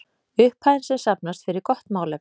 Upphæðin sem safnast fer í gott málefni.